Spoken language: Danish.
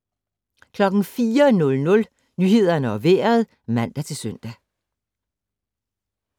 04:00: Nyhederne og Vejret (man-søn)